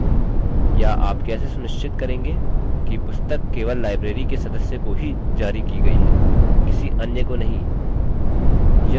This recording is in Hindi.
या आप कैसे सुनिश्चित करेंगे कि पुस्तक केवल library के सदस्य को ही जारी की गई है किसी अन्य को नहीं